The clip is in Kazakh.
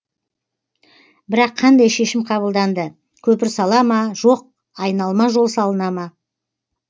бірақ қандай шешім қабылданды көпір сала ма жоқ айналма жол салына ма